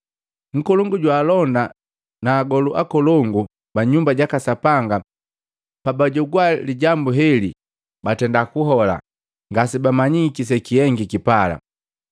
Nkolongu jwaalonda na agolu akolongu ba nyumba jaka Sapanga pabajogwaa lijambu heli batenda kuhola, ngasebamanyiki sekihengiki pala.